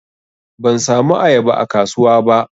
Ban samu ayaba a kasuwa ba.